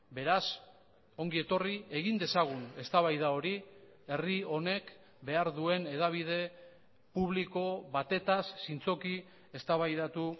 beraz ongi etorri egin dezagun eztabaida hori herri honek behar duen hedabide publiko batetaz zintzoki eztabaidatu